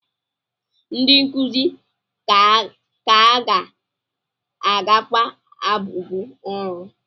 Ndị nkuzi ka ga-agakwa abụbọ ọrụ?